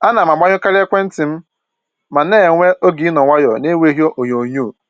Ana m agbanyụkarị ekwentị m ma na-enwe oge ịnọ nwayọọ na-enweghị onyoo nyoo